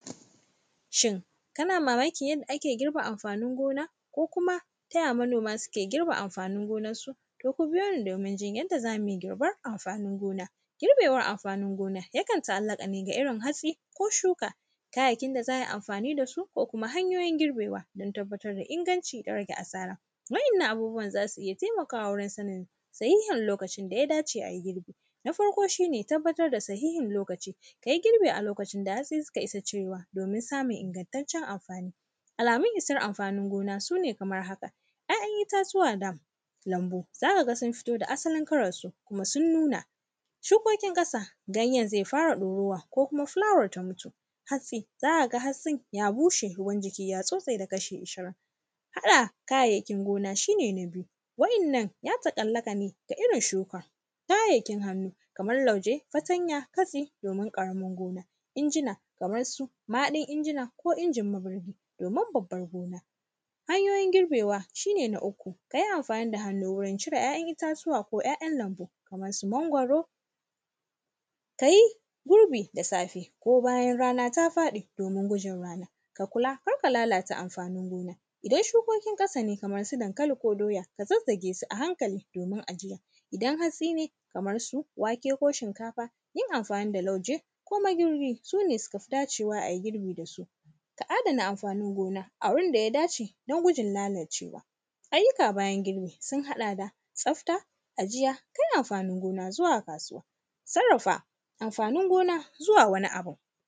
Shin, kana mamakin yadda ake girbe amfanin gona, ko kuma, ta ya manoma sike girbe amfanin gonarsu? To, ku biyo ni domin jin yadda za mui girbar amfanin gona. Girbewar amfanin gona, yakan ta’allaƙa ne ga irin hatsi ko shuka. Kayayyakin da za ai amfani da su ko kuma hanyoyin girbewa, don tabbatar da inaganci da rage asara, wa’yannan abubuwan za su iya temakawa wurin sanin sahihin lokacin da ya dace ai girbi. Na farko, shi ne tabbatar da sahihin lokaci, ka yi girbi a lokacin da hatsi sika isa cirewa, domin samun ingantaccen amfani. Alamun isar amfanin gona, su ne kamar haka. ‘Ya’yan itatuwa da lambu, za ka ga sun fito da asalin kalarsu, kuma sun nuna. Shukokin ƙasa, ganyen ze fara ɗorawa, ko kuma fulawar ta mutu. Hatsi, za ka ga hatsi, ya bushe, ruwan jiki ya bushe da kashi irishin. Haɗa kayayyakin gona, shi ne na biyu, waɗannan, ya taƙallaƙa ne ga irin shuka. Kayayyakin hannu, kamal lauje, fatanya, fatsi domin ƙaramar gona. Injina, kamar su mahaɗin injina ko injin magnuhu, domin babbar gona. Hanyoyin girbewa, shi ne na uku, ka yi amfani da hannu wurin cie ‘ya’yan itatuwa ko ‘ya’yan lambu kaman su mangwaro. Ka yi gurbi da safe ko bayan rana ta faɗi, domi gujin rana. Ka kula, kar ka lalata amfanin gona. Idan shukokin ƙasa ne, kamar su dankali ko doya, ka zazzage su a hankali domin ajiya. Idan hatsi ne, kamar su wake ko shinkafa, yin amfani da lauje ko magirbi, su ne suka fi dacewa ai girbi da su. Ka adana amfanin gona a wurin da ya dace don gujin nanacewa. Ayyuka bayan girbi, sun haɗa da tsafta, ajiya, kai amfanin gona zuwa kasuwa, sarrafa amfanin gona zuwa wani abun.